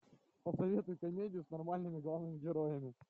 посоветуй комедию с нормальными главными героями